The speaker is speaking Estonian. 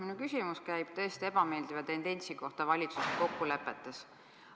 Minu küsimus on täiesti ebameeldiva tendentsi kohta valitsuse kokkulepetes.